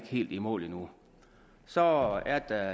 helt i mål endnu så er der